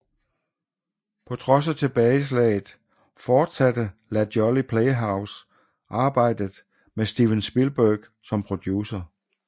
På trods af tilbageslaget fortsatte La Jolly Playhose arbejdet med Steven Spielberg som producer